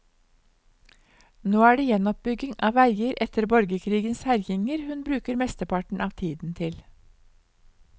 Nå er det gjenoppbygging av veier etter borgerkrigens herjinger hun bruker mesteparten av tiden til.